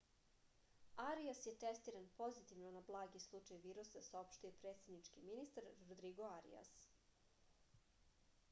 arias je testiran pozitivno na blagi slučaj virusa saopštio je predsednički ministar rodrigo arias